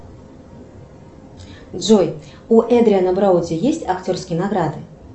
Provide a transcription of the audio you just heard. джой у эдриана броуди есть актерские награды